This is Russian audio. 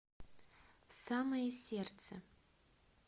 в самое сердце